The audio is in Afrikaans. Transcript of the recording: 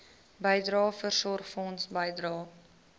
bydrae voorsorgfonds bydrae